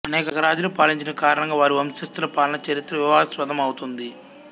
అనేక రాజులు పాలించిన కారణంగా వారి వంశస్థుల పాలనా చరిత్ర వివాదాస్పదమౌతుంది